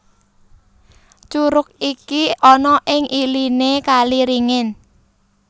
Curug iki ana ing iliné kali ringin